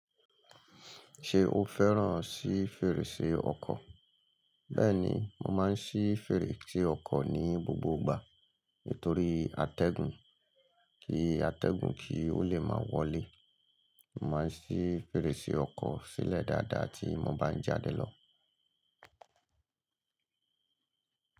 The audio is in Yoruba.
Ṣé o fẹ́ràn sí fèrèsé ọkọ̀? Bẹ́ẹ̀ni, mo máa ń ṣí fèrèsé ọkọ̀ ní gbogbo ìgbà torí àtẹ̀gùn, kí atẹgun kí ó lè máa wọlé. Mo máa ń ṣí fèrèsé ọkọ̀ sílẹ̀ dáadáa tí mo bá ń jáde lọ.